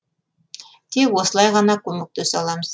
тек осылай ғана көмектесе аламыз